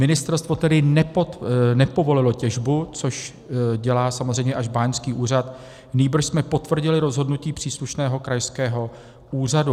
Ministerstvo tedy nepovolilo těžbu, což dělá samozřejmě až báňský úřad, nýbrž jsme potvrdili rozhodnutí příslušného krajského úřadu.